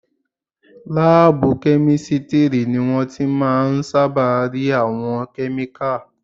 Láàbù kẹ́mísítírì ni wọ́n ti máà ń sáábà rí àwọn kẹ́míkà